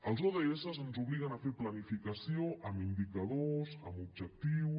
els odss ens obliguen a fer planificació amb indicadors amb objectius